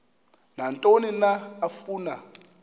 nantoni na afuna